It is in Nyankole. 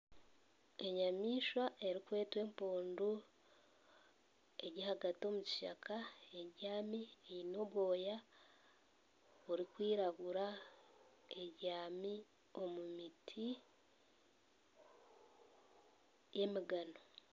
Enyamaishwa erikwetwa empundu eri ahagati omu kishaka ebyami Eine obwoya burikwiragura ebyami ahagati y'emigano